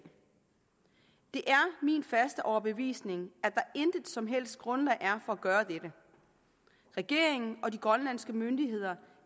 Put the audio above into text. min faste overbevisning at der intet som helst grundlag er for at gøre dette regeringen og de grønlandske myndigheder